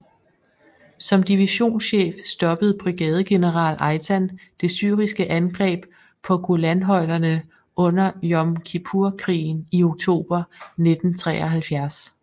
Som divisionschef stoppede brigadegeneral Eitan det syriske angreb på Golanhøjderne under Yom Kippur krigen i oktober 1973